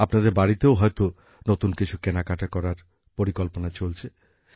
আপনাদের বাড়িতেও হয়তো নতুন কিছু কেনাকাটা করার পরিকল্পনা চলছে